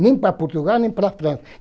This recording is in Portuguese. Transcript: Nem para Portugal, nem para a França.